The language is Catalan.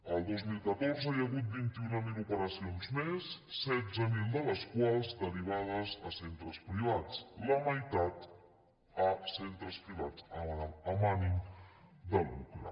el dos mil catorze hi ha hagut vint mil operacions més setze mil de les quals derivades a centres privats la meitat a centres privats amb ànim de lucre